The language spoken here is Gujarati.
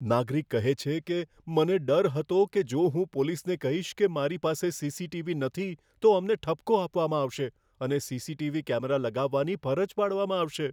નાગરિક કહે છે કે, મને ડર હતો કે જો હું પોલીસને કહીશ કે મારી પાસે સીસીટીવી નથી તો અમને ઠપકો આપવામાં આવશે અને સીસીટીવી કેમેરા લગાવવાની ફરજ પાડવામાં આવશે.